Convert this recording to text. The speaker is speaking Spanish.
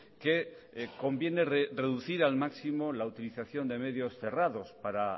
que conviene reducir al máximo la utilización de medios cerrados para